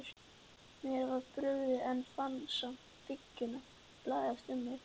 Mér var brugðið, en fann samt þykkjuna læsast um mig.